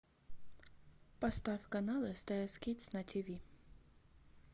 поставь канал стс кидс на тв